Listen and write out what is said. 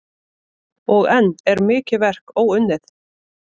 Og enn er mikið verk óunnið.